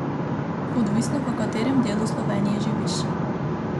Odvisno, v katerem delu Slovenije živiš.